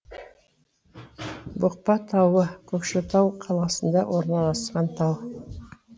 бұқпа тауы көкшетау қаласында орналасқан тау